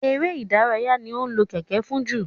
èrè ìdárayá ní a lò Kẹ̀kẹ́ fún jù